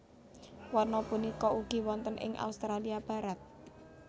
Wana punika ugi wonten ing Australia Barat